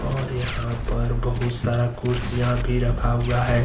और यहां पर बहुत सारा कुर्सियां भी रखा हुआ हैं।